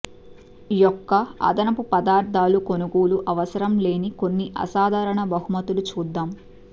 యొక్క అదనపు పదార్థాలు కొనుగోలు అవసరం లేని కొన్ని అసాధారణ బహుమతులు చూద్దాం